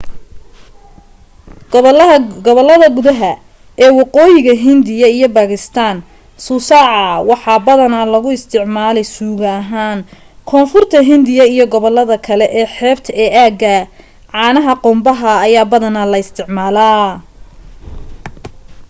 gobollada gudaha ee waqooyiga hindiya iyo baakistaan suusaca waxaa badanaa looga isticmaalaa suugo ahaan koonfurta hindiya iyo gobollada kale ee xeebta ee aaggaa caanaha qumbaha ayaa badanaa la isticmaalaa